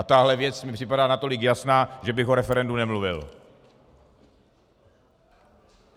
A tahle věc mi připadá natolik jasná, že bych o referendu nemluvil!